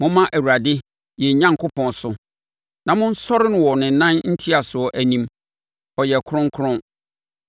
Momma Awurade, yɛn Onyankopɔn so na monsɔre no wɔ ne nan ntiasoɔ anim; ɔyɛ kronkron.